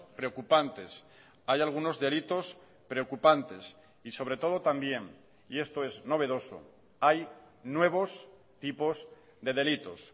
preocupantes hay algunos delitos preocupantes y sobre todo también y esto es novedoso hay nuevos tipos de delitos